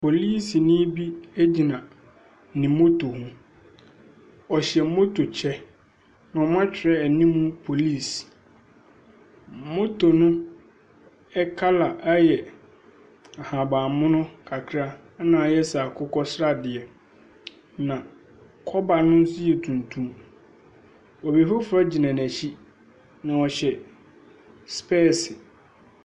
Polisini bi gyina ne moto ho. Ɔhyɛ moto kyɛ, na wɔatwerɛ anim Police. Moto no kala yɛ ahaban mono kakra na ayɛ sɛ akokɔ sradeɛ, na kɔba no nso yɛ tuntum. Obi foforɔ gyina n'akyi, na ɔhyɛ spɛɛse.